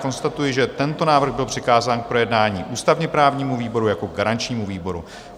Konstatuji, že tento návrh byl přikázán k projednání ústavně-právnímu výboru jako garančnímu výboru.